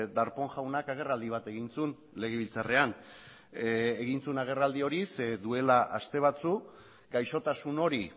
darpón jaunak agerraldi bat egin zuen legebiltzarrean egin zuen agerraldi hori duela aste batzuk gaixotasun hori